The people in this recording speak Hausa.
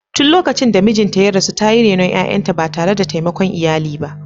Tun lokacin da mijinta ya rasu, ta yi renon ’ya’yanta ba tare da taimakon iyali ba.